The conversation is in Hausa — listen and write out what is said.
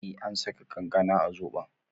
Eh an saka kankana a zobon